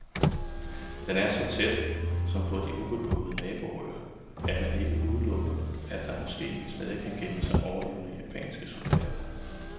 Den er så tæt, som på de ubeboede naboøer, at man ikke udelukker, at der måske stadig kan gemme sig overlevende japanske soldater der.